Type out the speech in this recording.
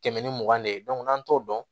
Tɛmɛn ni mugan de ye n'an t'o dɔn